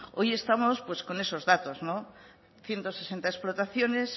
hoy estamos pues con esos datos ciento sesenta explotaciones